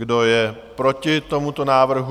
Kdo je proti tomuto návrhu?